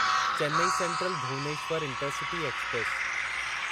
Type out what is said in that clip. Chennai Central Bhubaneswar intercity express